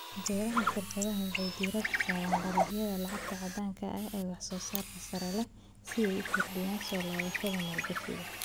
Beeraha shirkadaha waxay diiradda saaraan dalagyada lacagta caddaanka ah ee wax soo saarka sare leh si ay u kordhiyaan soo laabashadooda maalgashiga.